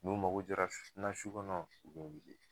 N'u mago jɔra n na su kɔnɔ, u bɛ n weele